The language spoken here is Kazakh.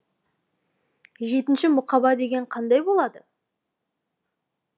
жетінші мұқаба деген қандай болады